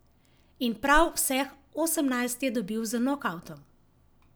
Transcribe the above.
In prav vseh osemnajst je dobil z nokavtom.